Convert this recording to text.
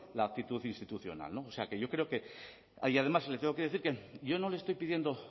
la actitud institucional o sea que yo creo que y además le tengo que decir que yo no le estoy pidiendo